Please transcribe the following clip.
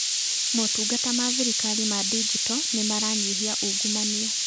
Motungata ma thirikari ma ndinjito nĩmaranyihia ungumania.